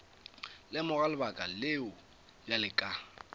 lemoga lebaka leo bjale ka